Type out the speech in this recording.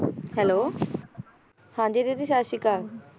Hello ਹਾਂ ਜੀ ਦੀਦੀ ਸਤਿ ਸ਼੍ਰੀ ਅਕਾਲ